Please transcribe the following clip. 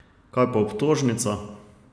Kaj pa obtožnica?